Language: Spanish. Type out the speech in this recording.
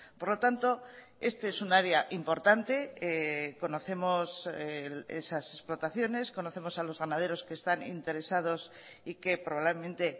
por lo tanto este es un área importante conocemos esas explotaciones conocemos a los ganaderos que están interesados y que probablemente